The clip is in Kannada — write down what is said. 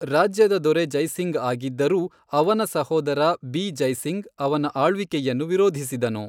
ರಾಜ್ಯದ ದೊರೆ ಜೈ ಸಿಂಗ್ ಆಗಿದ್ದರೂ, ಅವನ ಸಹೋದರ ಬಿ ಜೈ ಸಿಂಗ್ ಅವನ ಆಳ್ವಿಕೆಯನ್ನು ವಿರೋಧಿಸಿದನು.